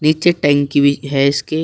नीचे टंकी भी है इसके --